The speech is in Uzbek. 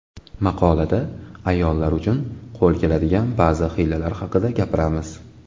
Maqolada ayollar uchun qo‘l keladigan ba’zi hiylalar haqida gapiramiz.